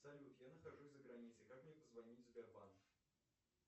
салют я нахожусь за границей как мне позвонить в сбербанк